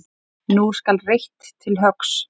Nú skal reitt til höggs.